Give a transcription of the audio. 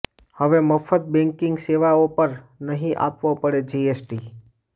હવે મફ્ત બેન્કિંગ સેવાઓ પર નહીં આપવો પડે જીએસટી